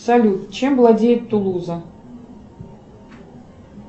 салют чем владеет тулуза